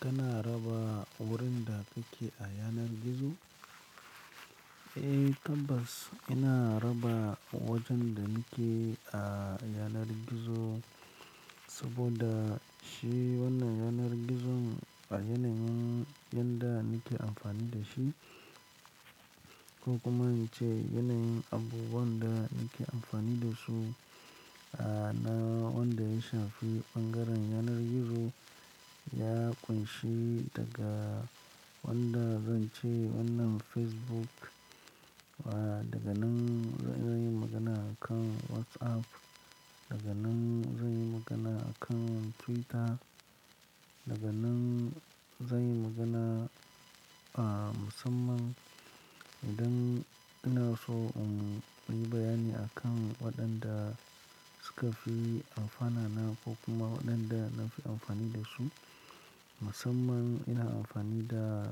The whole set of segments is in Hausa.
Kana raba wurin da kake a yanar gizo? Eh tabbas, ina raba wajen da nake a yanar gizo saboda shi wannan yanar gizon a yanayin yanda nake amfani da shi ko kuma in ce yanayin abubuwan da nake amfani da su, a na wanda ya shafi ɓangaren yanar gizo ya ƙunshi daga wanda zan ce wannan Facebook, daga nan zan yi magana akan WhatsApp, daga nan zan yi magana akan Twitter, daga nan zan yi magana a musamman idan ina so in yi bayani akan waɗanda suka fi amfana na ko kuma waɗanda na fi amfani da su. Musamman ina amfani da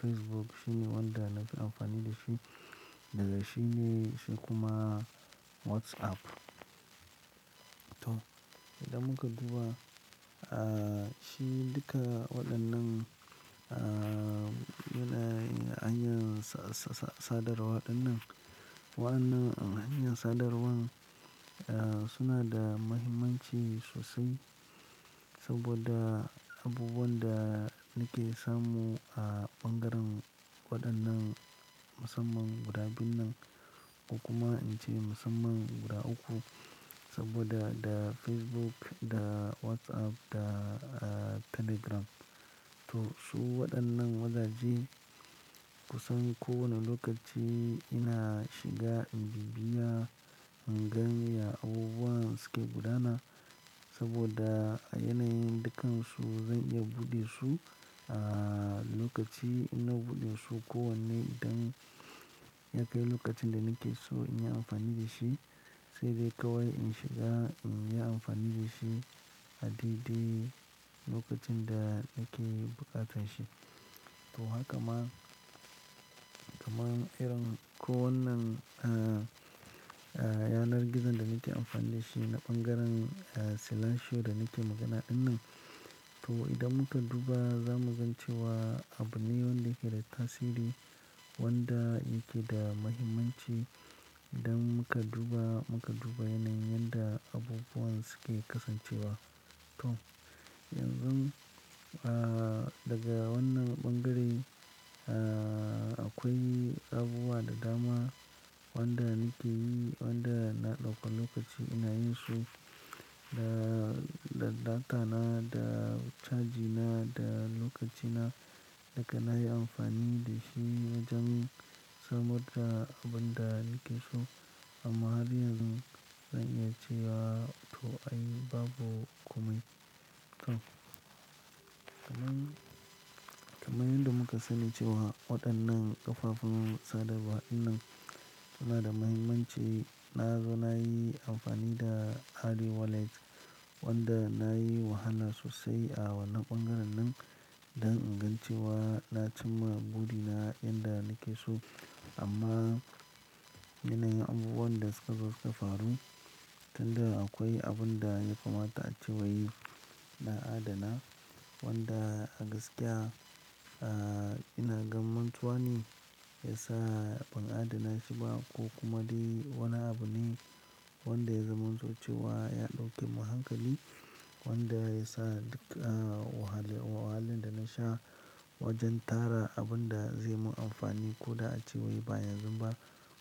Facebook shine wanda na fi amfani da shi daga shi ne shi kuma WhatsApp. To, idan muka duba, a shi duka waɗannan a yanayin hanyar sa-sa-sadarwa dinnan, wa'annan hanyar sadarwan suna da mahimmanci sosai saboda abubuwan da nake samu a ɓangaren waɗannan musamman guda biyun nan ko kuma in ce musamman guda uku saboda da Facebook, da WhatsApp, da Telegram. To su waɗannan wazaje kusan kowane lokaci ina shiga in bibbiya, in gani ya abubuwan suke buɗana saboda a yanayin dukansu zan iya buɗe su a lokaci ina buɗe su ko wanne idan ya kai lokacin da nake so in yi amfani da shi, sai dai kawai in shiga in yi amfani da shi a daidai lokacin da nake bukatan shi. To haka ma, kamar irin kowannan a yanar gizon da nake amfani da shi na ɓangaren Silasho da nake magana dinnan. To idan muka duba za mu gan ce wa abune wanda yake da tasiri, wanda yake da mahimmanci idan muka duba, muka duba yanayin yanda abubuwan suke kasancewa. To yanzu a daga wannan ɓangare a akwai abubuwa da dama waɗanda nake yi, waɗanda na ɗauka lokaci ina yin su da data na, da caji na, da lokaci na da kana yi amfani da shi wa jen samar da abun da nake so. Amma har yanzu zan iya ce wa to ai babu komai. Kamun, kamar yadda muka sani cewa waɗannan ƙafafun sadarwa ɗinnan suna da mahimmanci. Na zo na yi amfani da Ari Wallet wanda na yi wahala sosai a wannan ɓangaren nan don ingancewa. Na cimma buri in da nake so amma yanayin abubuwan da suka zo faru, tunda akwai abun da ya kamata a ce wai na adana wanda a gaskiya a ina gamantuwa ne ya sa ban adana shi ba ko kuma dai wani abu ne wanda ya zaman to ce wa ya ɗauke mun hankali wanda ya sa duka wahalan da na sha wajen tara abun da zai mun amfani ko da a ce wai ba yanzu ba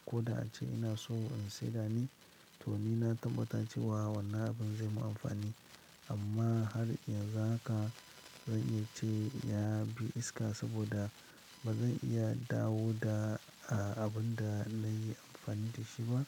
ko da a ce ina so in saida ne. To ni na tabbata cewa wannan abun zai mun amfani amma har yanzu haka zan iya ce ya bi iska saboda ba zan iya dawo da abun da na yi amfani da shi ba.